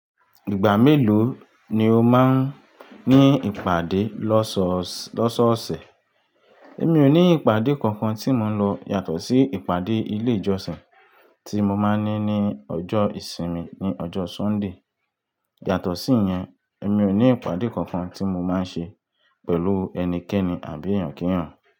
Ìgbà mélòó ni o máa ń ní ìpàdé lọ́sọ̀ọ̀sẹ̀? Èmi ò ní ìpàdé kankan tí mo ń lọ yàtọ̀ sí ìpàdé ilé ìjọsìn tí mo máa ń ní ní ọjọ́ ìsinmi, ní ọjọ́ Sunday. Yàtọ̀ sí yẹn, èmi ò ní ìpàdé kankan tí mo máa ń ṣe pẹ̀lú ẹnikẹ́ni àbí ẹ̀yàn kí ẹ̀yàn.